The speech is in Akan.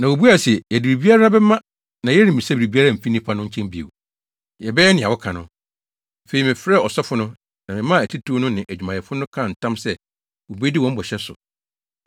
Na wobuae se, “Yɛde biribiara bɛma na yɛremmisa biribiara mfi nnipa no nkyɛn bio. Yɛbɛyɛ nea woka no.” Afei, mefrɛɛ asɔfo no, na memaa atitiriw no ne adwumayɛfo no kaa ntam sɛ wobedi wɔn bɔhyɛ so.